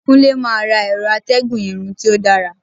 Kunle ma ra ẹrọ atégùn Irun ti o dara